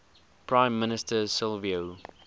prime minister silvio